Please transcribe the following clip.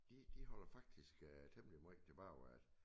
De de holder faktisk øh temmelig måj tilbage at